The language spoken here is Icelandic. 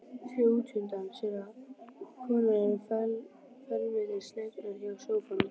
Sér útundan sér að konurnar eru felmtri slegnar hjá sófanum.